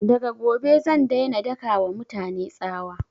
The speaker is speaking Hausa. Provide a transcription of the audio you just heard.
Daga gobe zan daina daka wa mutane tsawa